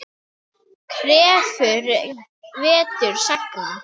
Krefur vetur sagna.